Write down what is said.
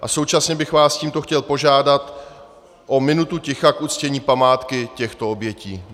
A současně bych vás tímto chtěl požádat o minutu ticha k uctění památky těchto obětí.